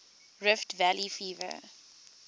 rift valley fever